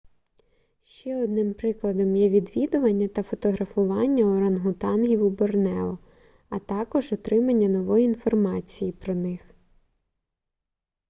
ще одним прикладом є відвідування та фотографування орангутангів у борнео а також отримання нової інформації про них